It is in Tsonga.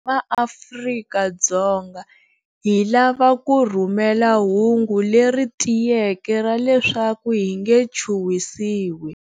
MaAfrika-Dzonga, hi lava ku rhumela hungu leri tiyeke ra leswaku hi nge chuhwisiwi.